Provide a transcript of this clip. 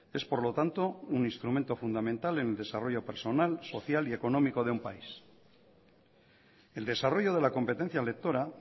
es por lo tanto un instrumento fundamental en el desarrollo personal social y económico de un país el desarrollo de la competencia lectora